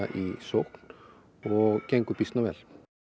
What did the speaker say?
í sókn og gengur býsna vel